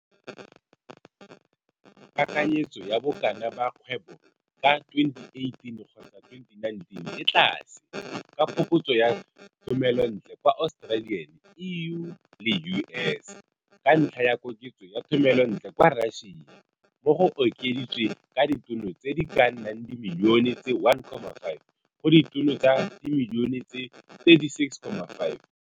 Kakanyetso ya bokana ba kgwebo ka 2018 kgotsa 2019 e tlase, ka phokotso ya thomelontle kwa Australian, EU, le U. S. Ka ntlha ya koketso ya thomelontle kwa Russia, mo go okeditswe ka ditono tse di ka nnang dimilione tse 1,5 go ditono tsa dimilione tse 36,5.